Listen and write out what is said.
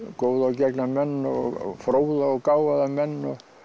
góða og gegna menn og fróða og gáfaða menn